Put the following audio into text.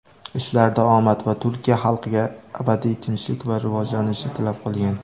ishlarida omad va Turkiya xalqiga abadiy tinchlik va rivojlanishni tilab qolgan.